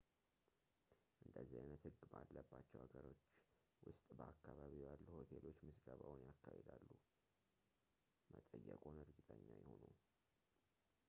እንደዚህ ዓይነት ሕግ ባለባቸው ብዙ ሀገሮች ውስጥ በአከባቢው ያሉ ሆቴሎች ምዝገባውን ያካሂዳሉ መጠየቅዎን እርግጠኛ ይሁኑ